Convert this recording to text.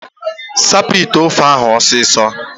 Sapụ ite ofe ahụ ọsịsọ!